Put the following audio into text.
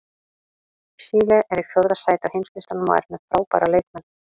Síle er í fjórða sæti á heimslistanum og er með frábæra leikmenn.